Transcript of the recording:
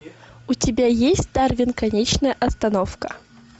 у тебя есть дарвин конечная остановка